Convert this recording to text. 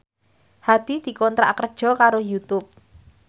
Hadi dikontrak kerja karo Youtube